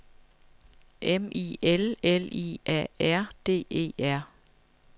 M I L L I A R D E R